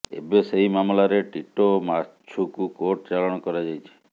ଏବେ ସେହି ମାମଲାରେ ଟିଟୋ ଓ ମାଛୁକୁ କୋର୍ଟ ଚଲାଣ କରାଯାଇଛି